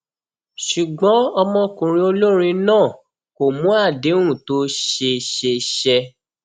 ṣùgbọn ọmọkùnrin olórin náà kò mú àdéhùn tó ṣe ṣe ṣẹ